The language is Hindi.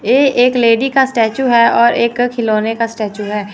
ये एक लेडी का स्टेचू है और एक खिलौने का स्टेचू है।